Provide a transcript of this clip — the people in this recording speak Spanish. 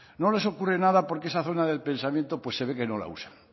no les ocurre nada porque esa zona del pensamiento pues se ve que no la usan